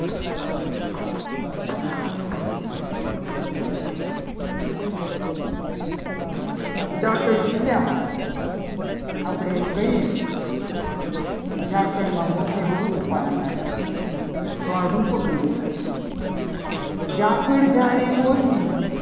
પણ ખીરા હોય. આપણે એને કહીએ. ઝાકળના મોતી બહુ રૂપાળા લાગે છે. તો આ રૂપક અલંકાર થયો. ઝાકળ જાણે મોતી